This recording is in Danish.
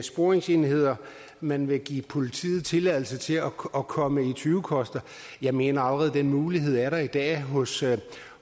sporingsenheder man vil give politiet tilladelse til at komme i tyvekoster jeg mener at den mulighed allerede er der i dag hos